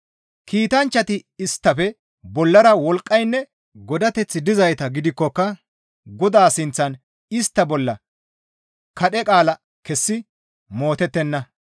Kiitanchchati isttafe bollara wolqqaynne godateththi dizayta gidikkoka Godaa sinththan istta bolla kadhe qaala kessi mootettenna.